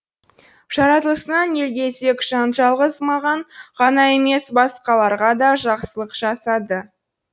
жаратылысынан елгезек жан жалғыз маған ғана емес басқаларға да жақсылық жасады